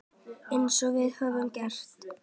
Eins og við höfum getað.